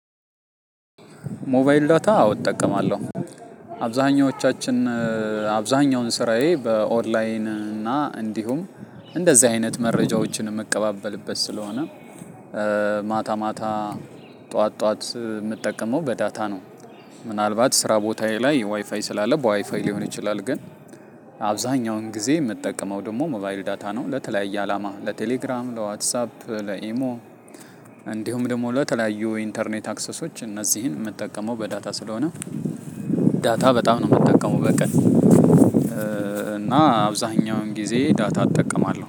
ሞባይል ዳታ አዎ እጠቀማለሁ። አብዛኞቻችን አብዛኛውን ስራዬ በኦንላይን እና እንዲሁም እንደዚህ አይነት መረጃዎችን እምቀባበልበት ስለሆነ። ማታ ማታ ጠዋት ጠዋት የምጠቀመው በዳታ ነው። ምናልባት ስራ ቦታዬ ላይ ዋይፋይ ስላለ በዋይፋይ ሊሆን ይችላል ግን። አብዛኛውን ጊዜ የምጠቀመው ደግሞ ሞባይል ዳታ ነው ለተለያየ አላማ ለቴሌግራም ለዋትሳፕ ለኢሞ። እንዲሁም ደግሞ ለተለያዩ ኢንተርኔት አክሰሶች እነዚህን የምጠቀመው በዳታ ስለሆነ። ዳታ በጣም ነው የምጠቀመው በቀን እና አብዛኛውን ጊዜ ዳታ እጠቀማለሁ